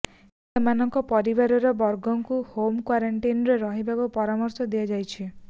ସେମାନଙ୍କ ପରିବାର ବର୍ଗଙ୍କୁ ହୋମ କ୍ୱାରେଣ୍ଟାଇନ୍ରେ ରହିବାକୁ ପରାମର୍ଶ ଦିଆଯାଇଛି